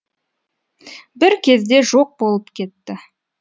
бір кезде жоқ болып кетті